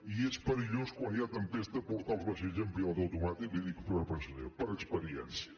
i és perillós quan hi ha tempesta portar els vaixells amb pilot automàtic li ho dic per experiència